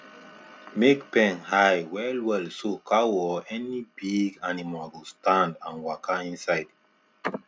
make pen high well well so cow or any big animal go stand and waka inside